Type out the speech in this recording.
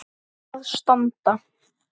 að standa.